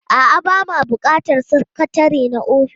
A'a, ba ma buƙatar sakatare na ofis.